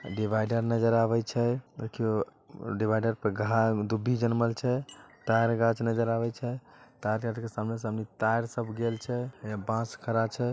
Divider नजर आवे छै देखियों डिवाइडर पर घा दुब्भी जन्मल छै तार गाछ नजर आवे छै तार गाछ के सामना सामनी तार सब गेल छै यहां बांस खड़ा छै।